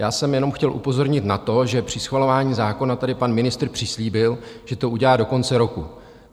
Já jsem jenom chtěl upozornit na to, že při schvalování zákona tady pan ministr přislíbil, že to udělá do konce roku.